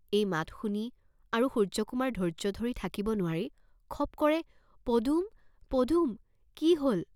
এই মাত শুনি আৰু সূৰ্য্যকুমাৰ ধৈৰ্য্য ধৰি থাকিব নোৱাৰি খপ কৰে "পদুম, পদুম, কি হল?